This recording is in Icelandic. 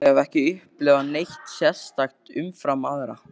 Ég hef ekki upplifað neitt sérstakt umfram aðra.